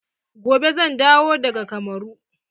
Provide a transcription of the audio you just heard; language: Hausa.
Gobe zan dawo daga kamaru.